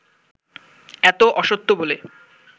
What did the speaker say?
এত অসত্য বলে